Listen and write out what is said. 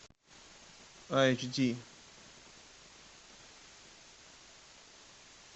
айч ди